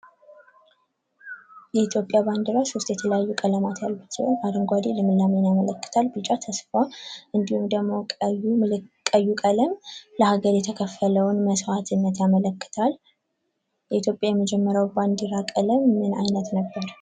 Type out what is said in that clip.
የኢትዮጵያ ባንዲራ ሶስት የተለያዩ ቀለም ያሉት ሲሆን አረንጓዴ ልምላሜን ያመለክታል፤ ቢጫ ተስፋ እንዲሁም ደግሞ ቀዩ ቀለም ለሀገር የተከፈለውም መስዋዕትነት ያመለክታል። የኢትዮጵያ የመጀመሪያው የባንዲራ ቀለም ምን አይነት ነበር?